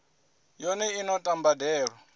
yone i no ta mbadelo